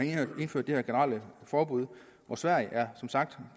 indført det her generelle forbud og sverige er som sagt